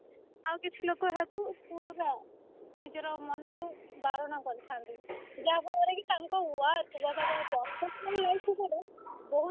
ଆଉ କିଛି ଲୋକ ଏହାକୁ ପୁରା ନିଜର ମନରୁ ବାରଣ କରିଥାନ୍ତି ଯାହାଫଳରେ କି ତାଙ୍କ work ଜାଗା ଟା perfect ବହୁତ